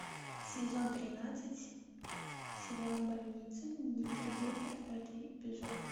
сезон тринадцать сериал больница никербокер пятый эпизод